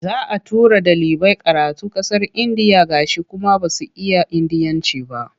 Za a tura ɗalibai karatu ƙasar Indiya gashi kuma ba su iya Indiyanci ba.